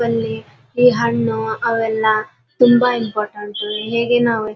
ಅಲ್ಲಿ ಈ ಹಣ್ಣು ಅವೆಲ್ಲ ತುಂಬಾ ಇಂಪಾರ್ಟೆಂಟ್ ಹೇಗೆ ನಾವು --